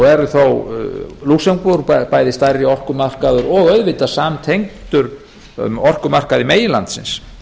er þó lúxemborg bæði stærri orkumarkaður og auðvitað samtengdur um orkumarkað meginlandsins